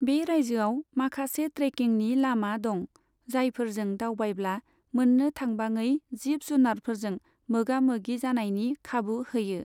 बे रायजोआव माखासे ट्रेकिंनि लामा दं, जायफोरजों दावबायब्ला मोननो थांबाङै जिब जुनारफोरजों मोगा मोगि जानायनि खाबु होयो।